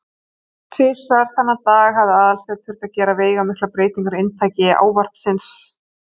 Tvisvar þennan dag hafði Aðalsteinn þurft að gera veigamiklar breytingar á inntaki ávarps síns.